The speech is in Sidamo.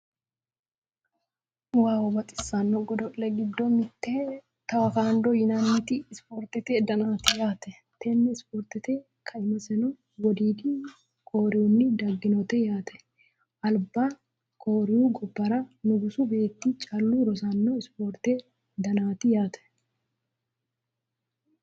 wow baxisanno godo'le giddo mitte teakwondo yinanniti ispoortete danaati yaate, tenne ispoorte kaimiseno wodiidi koriyiinni dagginote yaate. alba koriyu gobbara nugusu beetti callu rosanno ispoortete danaati yaate.